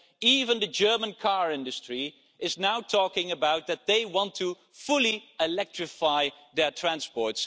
Even the German car industry is now talking about wanting to fully electrify their transport.